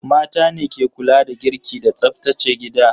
Mata ne ke kula da girki da tsaftace gida.